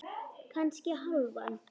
Kannski hálfan.